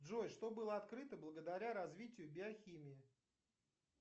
джой что было открыто благодаря развитию биохимии